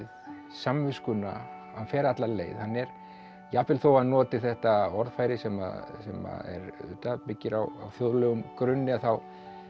samviskuna hann fer alla leið jafnvel þó hann noti þetta orðfæri sem sem að auðvitað byggir á þjóðlegum grunni þá